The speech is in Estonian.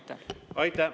Aitäh!